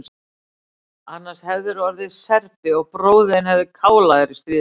Annars hefðirðu orðið Serbi og bróðir þinn hefði kálað þér í stríðinu.